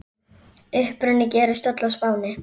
Uppruni gerist öll á Spáni.